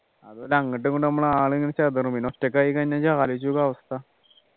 അതുപോലെ അങ്ട്ടും ഇങ്ട്ടും നമ്മളെ ആള് ഇങ്ങനെ ചെതറും ഒറ്റക്കായിക്കഴിഞ്ഞാ ആലോചിച്ചു നോക്കിയേ അവസ്ഥ